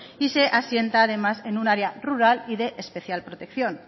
y se asienta además en un área rural y de especial protección